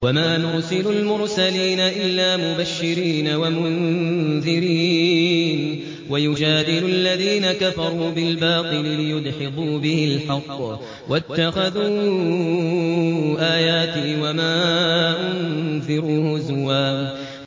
وَمَا نُرْسِلُ الْمُرْسَلِينَ إِلَّا مُبَشِّرِينَ وَمُنذِرِينَ ۚ وَيُجَادِلُ الَّذِينَ كَفَرُوا بِالْبَاطِلِ لِيُدْحِضُوا بِهِ الْحَقَّ ۖ وَاتَّخَذُوا آيَاتِي وَمَا أُنذِرُوا هُزُوًا